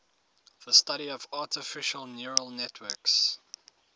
the study of artificial neural networks